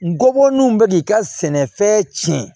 Ngɔbɔlenw bɛ k'i ka sɛnɛfɛn cɛn